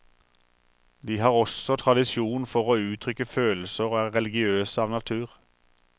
De har også tradisjon for å uttrykke følelser, og er religiøse av natur.